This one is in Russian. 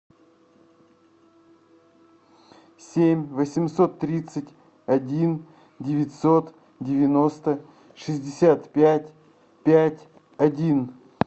семь восемьсот тридцать один девятьсот девяносто шестьдесят пять пять один